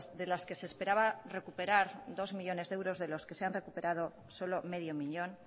de las que se esperaba recuperar dos millónes de euros de los que se han recuperado solo medio millón